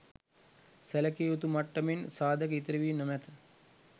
සැලකිය යුතු මට්ටමෙන් සාධක ඉතිරි වී නොමැත.